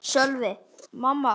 Sölvi: Minna?